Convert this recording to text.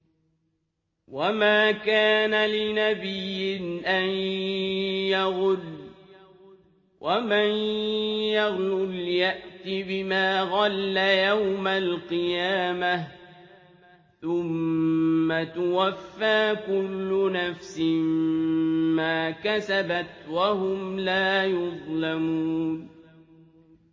وَمَا كَانَ لِنَبِيٍّ أَن يَغُلَّ ۚ وَمَن يَغْلُلْ يَأْتِ بِمَا غَلَّ يَوْمَ الْقِيَامَةِ ۚ ثُمَّ تُوَفَّىٰ كُلُّ نَفْسٍ مَّا كَسَبَتْ وَهُمْ لَا يُظْلَمُونَ